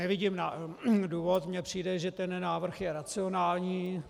Nevidím důvod, mně přijde, že ten návrh je racionální.